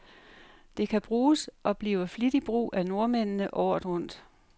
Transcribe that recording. Det kan bruges, og bliver flittigt brug af nordmændene, året rundt.